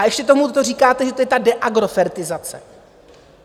A ještě k tomu říkáte, že to je ta deagrofertizace.